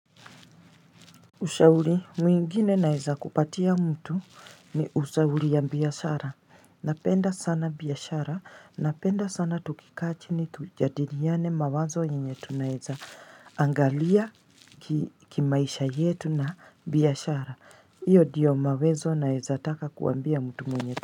Ushauri mwingine naweza kupatia mtu ni ushauri ya biashara, napenda sana biashara, napenda sana tukikaa chini tujadiliane mawazo yenye tunaweza angalia kimaisha yetu na biashara, iyo ndio mawezo naweza taka kuambia mtu mwenye.